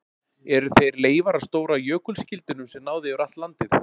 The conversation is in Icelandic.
Eru þeir leifar af stóra jökulskildinum sem náði yfir allt landið?